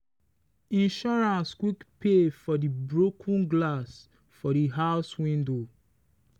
insurance quick pay for the broken glass for the house window.